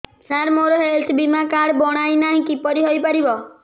ସାର ମୋର ହେଲ୍ଥ ବୀମା କାର୍ଡ ବଣାଇନାହିଁ କିପରି ହୈ ପାରିବ